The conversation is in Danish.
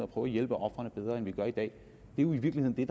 prøve at hjælpe ofrene bedre end vi gør i dag jo i virkeligheden